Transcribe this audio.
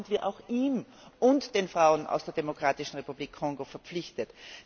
Da sind wir auch ihm und den Frauen aus der Demokratischen Republik Kongo verpflichtet.